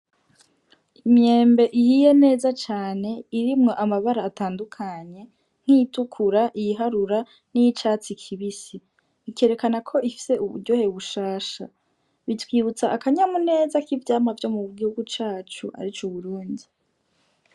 Imyembe ihiye neza cane irimwo amabara atandukanye, nk'iyitukura, iyiharura n'iyicatsi kibisi, ikerekana ko ifise uburyohe bushasha. Bitwibutsa akanyamuneza k'ivyamwa vyo mu gihugu cacu arico Uburundi.